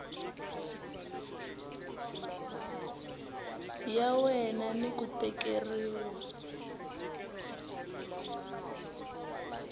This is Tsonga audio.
ya wena ni ku tekeriwa